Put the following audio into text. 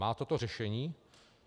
Má toto řešení?